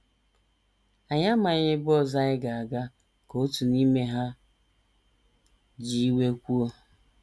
“ Anyị amaghị ebe ọzọ anyị ga - aga, ” ka otu n’ime ha ji iwe kwuo.